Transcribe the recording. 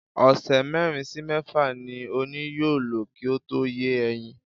Ọ̀sẹ̀ mérin sí mẹ́fà ni ọ̀nì yóò lò kí ó tó yé ẹyin.